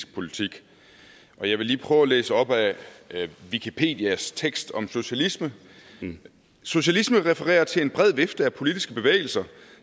politik og jeg vil lige prøve at læse op af wikipedias tekst om socialisme socialisme refererer til en bred vifte af politiske bevægelser